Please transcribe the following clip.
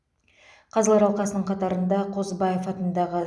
қазылар алқасының қатарында қозыбаев атындағы